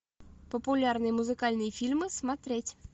популярные музыкальные фильмы смотреть